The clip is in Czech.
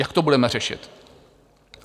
Jak to budeme řešit?